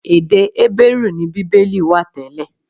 Èdè Hébérù ni Bíbélì wà tẹ́lẹ̀.